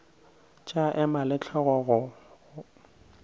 tša ema le hlogo go